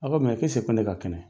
A ko mɛ ko ko ne ka kɛnɛ?